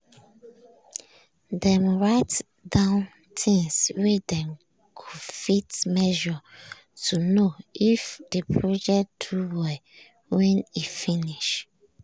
dem write down things wey dem go fit measure to know if the project do well when e finish.